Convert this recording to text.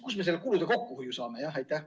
Kust me selle kulude kokkuhoiu saame?